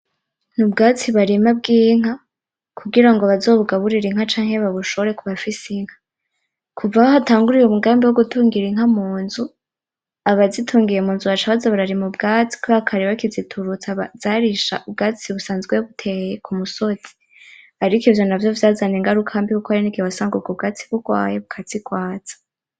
Ubwatsi barima bw'inka kugirango bazobugaburire inka canke babushore kubafise inka kuva aho hatanguriye umugambi wo gutungira inka munzu, abazitungiye munzu baca baza bararima ubwatsi kubera kare baca bakiziturutsa zarisha ubwatsi busanzwe buteye ku musozi ariko ivyo navyo vyazanye ingaruka mbi kuko harigihe wasanga ubwo bwatsi bugwaye bukazigwaza.